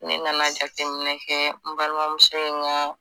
Ne nana jateminɛ kɛ n balimamuso in ka